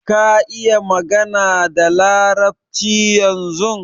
Ka iƴa magana da larabci ƴanzun?